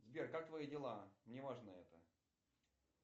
сбер как твои дела мне важно это